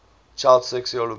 child sexual abuse